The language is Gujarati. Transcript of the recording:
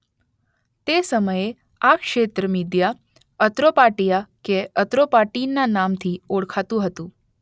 તે સમયે આ ક્ષેત્ર મીદિયા અત્રોપાટિયા કે અત્રોપાટીન ના નામ થી ઓળખાતું હતું.